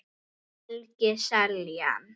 Helgi Seljan